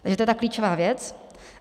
Takže to je ta klíčová věc.